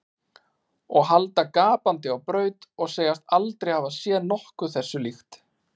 Og halda gapandi á braut og segjast aldrei hafa séð nokkuð þessu líkt.